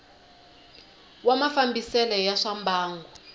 wa mafambisele ya swa mbangu